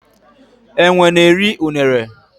enwe n'eri unere.